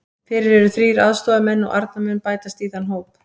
Fyrir eru þrír aðstoðarmenn og Arnar mun bætast í þann hóp.